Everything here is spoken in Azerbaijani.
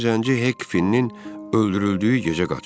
Həmin zənci Hekkin öldürüldüyü gecə qaçıb.